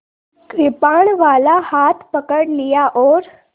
कृपाणवाला हाथ पकड़ लिया और